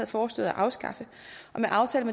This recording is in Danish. foreslået at afskaffe med aftalen